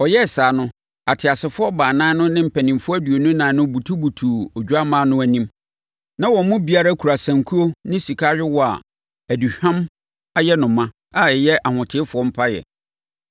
Ɔyɛɛ saa no, ateasefoɔ baanan no ne mpanimfoɔ aduonu ɛnan no butubutuu Odwammaa no anim. Na wɔn mu biara kura sankuo ne sika ayowaa a aduhwam ayɛ no ma a ɛyɛ ahotefoɔ mpaeɛ.